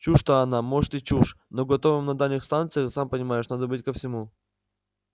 чушь-то она может и чушь но готовым на дальних станциях сам понимаешь надо быть ко всему